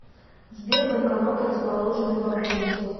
сбер банкоматы расположенные поблизости